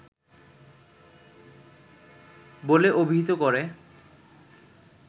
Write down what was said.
বলে অভিহিত করে